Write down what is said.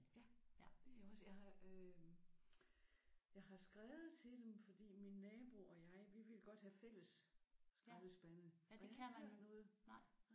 Ja det er jeg også. Jeg har øh jeg har skrevet til dem fordi min nabo og jeg vi ville godt have fælles skraldespande men vi har ikke hørt noget